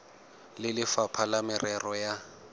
le lefapha la merero ya